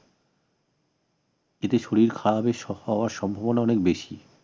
এতে শরীর খারাপের সম্ভাবনা অনেক বেশি